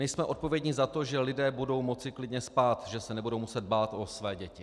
My jsme odpovědní za to, že lidé budou moci klidně spát, že se nebudou muset bát o své děti.